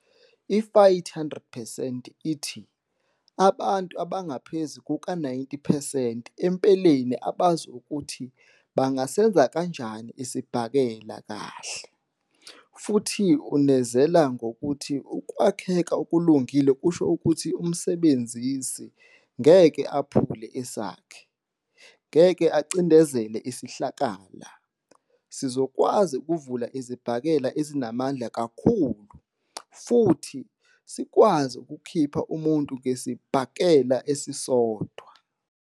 I-Fight 100 percent ithi "abantu abangaphezu kuka-90 percent empeleni abazi ukuthi bangasenza kanjani isibhakela kahle", futhi unezela ngokuthi ukwakheka okulungile kusho ukuthi umsebenzisi "ngeke aphule sakhe", "ngeke acindezele isihlakala "," sizokwazi ukuvula izibhakela ezinamandla kakhulu ", futhi" sikwazi ukukhipha umuntu ngesibhakela esisodwa ".